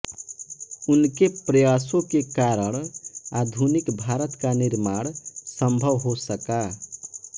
उनके प्रयासो के कारण आधुनिक भारत का निर्माण सम्भव हो सका